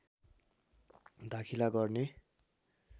दाखिला गर्ने